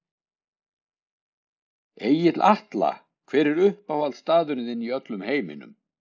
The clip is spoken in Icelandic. Egill Atla Hver er uppáhaldsstaðurinn þinn í öllum heiminum?